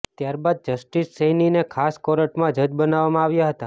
ત્યારબાદ જસ્ટિસ સૈનીને ખાસ કોર્ટમાં જજ બનાવવામાં આવ્યા હતા